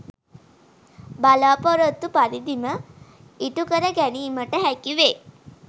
බලාපොරොත්තු පරිදිම ඉටු කර ගැනීමට හැකි වේ.